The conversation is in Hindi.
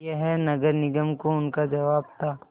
यह नगर निगम को उनका जवाब था